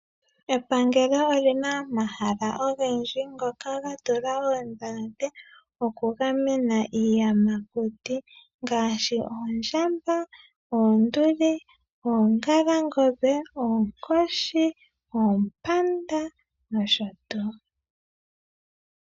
Epangelo olina omahala ogendji ngoka ga tulwa oondhalate oku gamena iiyamakuti ngaashi oondjamba, oonduli, oongalangombe, oonkoshi, oompanda nosho tuu.